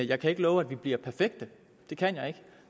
jeg kan ikke love at vi bliver perfekte det kan jeg ikke